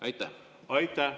Aitäh!